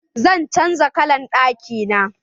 Zan canza kallan ɗaki na.